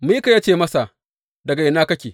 Mika ya ce masa, Daga ina kake?